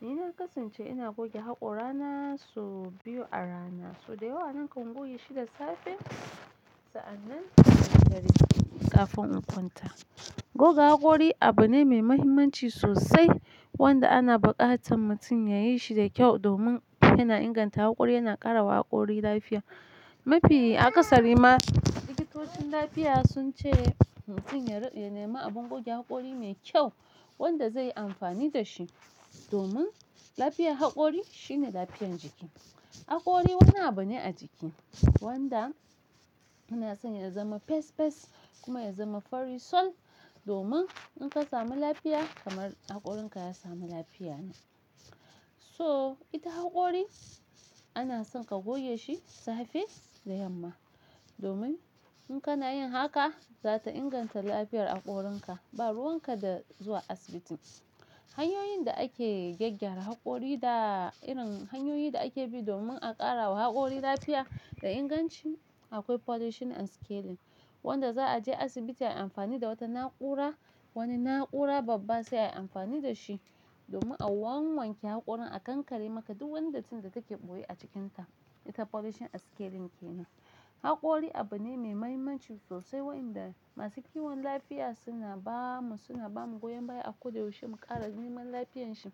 Ni na kasance ina goge hakora na su biyu a rana, so dayawa nakan goge shi da safe sa'annan da dare kafin in kwanta. Goga hakori abu ne mai mahimmanci sosai wanda ana buƙatan mutum ya yi shi da kyau domin yana inganta hakori yana ƙara wa hakori lafiya. Mafi a ƙasarima likitocin lafiya sun ce mutum ya ri-- ya nema abun goge hakori mai kyau wanda zai yi amfani da shi domin lafiyar hakori shine lafiyar jiki. Hakori wani abu ne a jiki wanda muna son ya zama pes pes kuma ya zama fari sol domin in ka samu lafiya kamar hakorinka ya samu lafiya ne. So ita hakori ana son ka goge shi safe da yamma domin in kana yin haka za ta inganta lafiyar hakorinka ba ruwan ka da zuwa asibitin. Hanyoyin da ake gyaggyara hakori da irin hanyoyin da ake bi domin a ƙara wa hakori lafiya da inganci akwai polishing and scaling wanda za a je asibiti ayi amfani da wata na'ura wani na'ura babba sai ayi amfani da shi domin a wanwanke hakorin a kankare maka duk wandaitin da take ɓoye a cikinta. Ita polishing and scaling kenan. Hakori abu ne mai mahimmanci sosai waɗanda masu kiwon lafiya suna ba mu suna ba mu goyon baya a koda yaushe mu ƙara neman lafiyanshi,